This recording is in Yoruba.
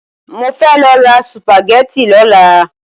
Mo fẹ́ lọ ra sùpàgẹ́tì lọ́la.